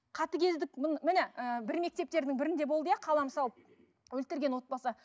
қатыгездік міне ыыы бір мектептердің бірінде болды иә қала мысалы өлтірген отбасы